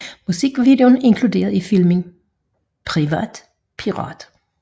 Musikvideoen er inkluderet i filmen Privat Pirat